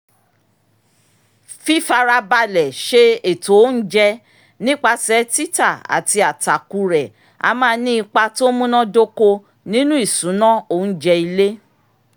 fífarabalẹ̀ ṣe ètò oúnjẹ nípasẹ̀ títà àti àtàkù rẹ a máa ní ipa tó múnádóko nínu ìṣùnà oúnjẹ ilé